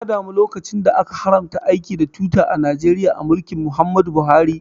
Na damu lokacin da aka haramta aiki da Twitter a Najeriya a mulkin Muhammad Buhari